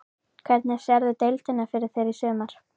Hvernig sérðu deildina fyrir þér í sumar?